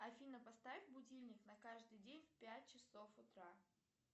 афина поставь будильник на каждый день в пять часов утра